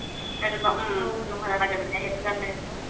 সেইটো কাৰণে আকৌ